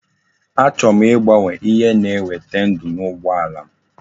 Achọrọ m igbanwe ihe na eweta ndu na ugbo alam